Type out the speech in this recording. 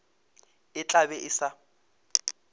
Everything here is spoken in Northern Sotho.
e tla be e sa